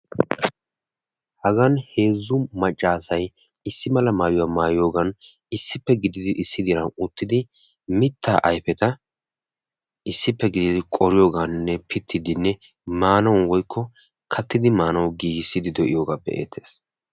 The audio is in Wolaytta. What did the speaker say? Hagan heezzu maccassayissi mala mayuwaa maayiyoogan issi diran issippe gididi uttidi mittaa ayfeta issippe. gididi qoriyoogan woykko pitiidi katidi maanaw gigissidi de'iyogai be'ettees.